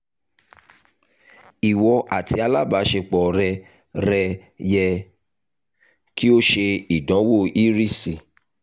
iwọ ati alabaṣepọ rẹ rẹ yẹ ki o ṣe idanwo irisi